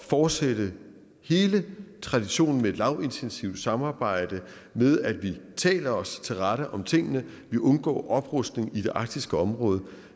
fortsætte hele traditionen med et lavintensivt samarbejde med at vi taler os til rette om tingene vi undgår oprustning i det arktiske område